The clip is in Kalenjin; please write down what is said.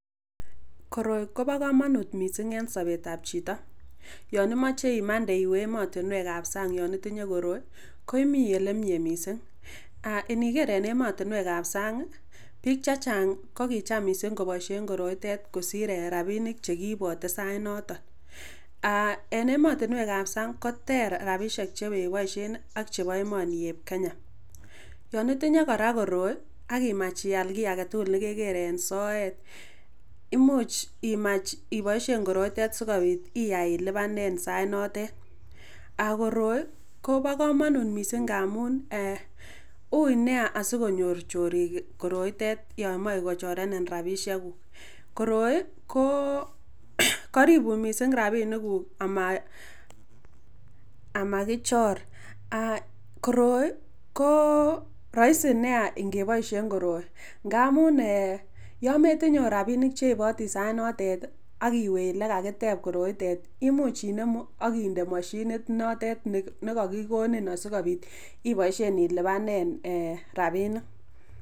koroi kobo komonut missing en somet ab chito yonimoche imande iwee emotinwek ab sang yon itinye koroi koimii elemie missing , iniker en emotinwek ab sang kii bik chechang kokicham missing koboishen koroitet kosir eeh rabinik chekiibote sait noton aah en emotinwek ab sang koter rabishek chekeboishen nii ak chebo emoni eb kenya. Yon itinyee koraa koroi ak imach iaal kii agetukul nekeker en soet imuch imach iboishen koroiten sikobit iyai ilipanen sait notet ako roi kobo komonut missing ngamun eeh ui nia asikonyor chorik koroitet yon moche kochorenin rabishek kuuk koroi koo koribun missing rabinik kuuk ama kichor ak koroi koo roisi nia ikeboishen koroi ngamun eeh yon metiye ot rabinik cheibotii sait notet ak iwee ole kakitep koroitet imuch inemu ak inde mashini ntet nekokikonin asikobit ilipanen eeh rabinik.